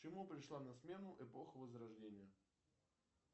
чему пришла на смену эпоха возрождения